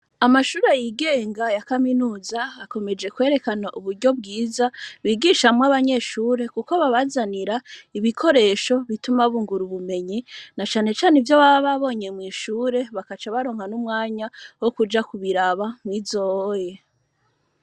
Amashure yigenga ya kaminuza akomeje kwerekana uburyo bwiza bigishamwo abanyeshure, kuko babazanira ibikoresho bituma bungura ubumenyi na canecane ivyo bababonye mw'ishure bakaca baronka n'umwanya wo kuja kubiraba mwizoye.